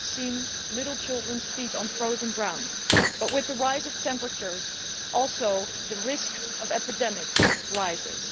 I have seen little children's feet on frozen ground, but with rising temperatures the risk of epidemics also rises.